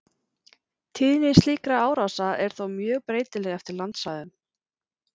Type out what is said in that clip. Tíðni slíkra árása er þó mjög breytileg eftir landsvæðum.